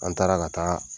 An taara ka taa